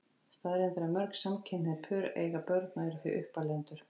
Staðreynd er að mörg samkynhneigð pör eiga börn og eru því uppalendur.